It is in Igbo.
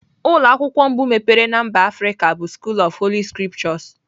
Ụlọ akwụkwọ mbụ emepere na mba Afrịka bụ School of Holy scriptures.